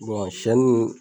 sɛni nin